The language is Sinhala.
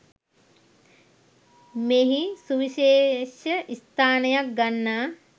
මෙහි සුවිශේෂ ස්ථානයක් ගන්නා